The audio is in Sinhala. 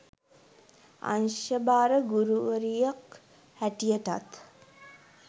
අංශ භාර ගුරුවරියක් හැටියටත්